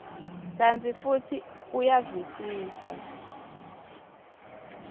kantsi futsi uyavisisa